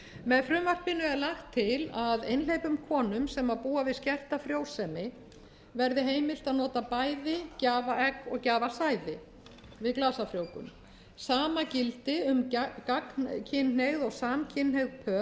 með frumvarpinu er lagt til einhleypum konum sem búa við skerta frjósemi verði heimilt að nota bæði gjafaegg og gjafasæði við glasafrjóvgun sama gildi um gagnkynhneigð og samkynhneigð pör þar